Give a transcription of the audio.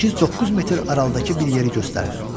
8-9 metr aralıdakı bir yeri göstərdim.